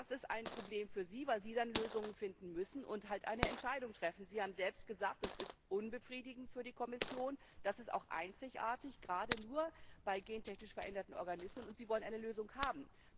Das ist ein Problem für Sie, weil Sie dann Lösungen finden und halt eine Entscheidung treffen müssen. Sie haben selbst gesagt, das ist für die Kommission unbefriedigend, das ist auch einzigartig gerade nur bei gentechnisch veränderten Organismen und Sie wollen eine Lösung haben.